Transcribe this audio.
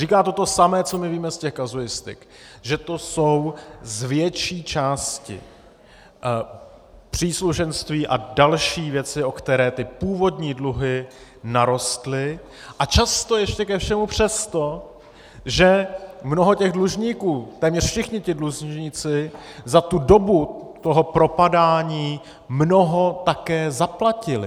Říká to to samé, co my víme z těch kazuistik: že to jsou z větší části příslušenství a další věci, o které ty původní dluhy narostly, a často ještě ke všemu přesto, že mnoho těch dlužníků, téměř všichni ti dlužníci za dobu toho propadání mnoho také zaplatili.